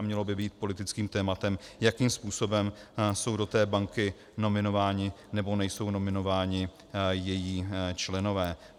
A mělo by být politickým tématem, jakým způsobem jsou do té banky nominováni nebo nejsou nominováni její členové.